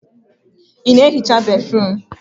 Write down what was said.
Ị na ehicha béfrụm?